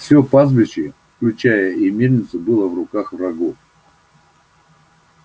всё пастбище включая и мельницу было в руках врагов